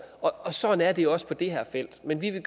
og sådan er det også på det her felt men vi vil